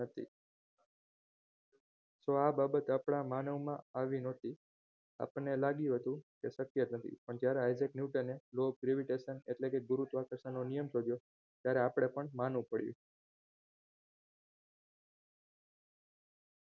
તો બાબત આપણા માનવમાં આવી નહોતી આપણને લાગતું હતું એ આ શક્ય નથી પણ જ્યારે isaac newtork ને law of gravitation એટલે કે ગુરુત્વાકર્ષણનો નિયમ શોધ્યો ત્યારે આપણે પણ માનવું પડ્યું